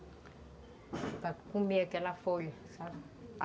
Para comer aquela folha, sabe?